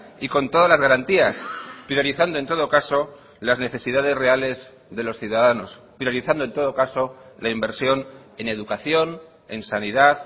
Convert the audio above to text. y con todas las garantías priorizando en todo caso las necesidades reales de los ciudadanos priorizando en todo caso la inversión en educación en sanidad